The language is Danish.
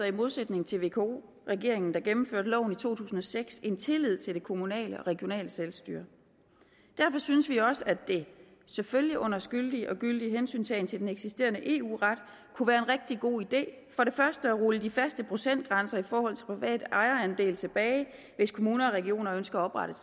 i modsætning til vko regeringen der gennemførte loven i to tusind og seks en tillid til det kommunale og regionale selvstyre derfor synes vi også at det selvfølgelig under skyldig og gyldig hensyntagen til den eksisterende eu ret kunne være en rigtig god idé for det første at rulle de faste procentgrænser i forhold til privat ejerandel tilbage hvis kommuner og regioner ønsker at oprette